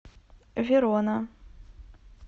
верона